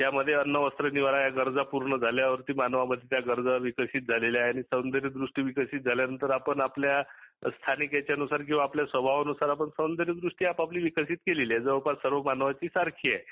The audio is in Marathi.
त्यामध्ये अन्न, वस्त्र, निवारा या गरजा पुर्ण झाल्या वरती मानवामध्ये त्या गरजा विकसीत झाल्या आहे, आणि सौंदर्यदृष्टी विकसीत झाल्यानंतर आपण आपल्या स्थानिक हयाच्यानुसार किंवा स्वभावानुसार आपण सौंदर्यदृष्टी आपापली विकसीत केली आहे. जवळपास सर्व मानवाची सारखी आहे.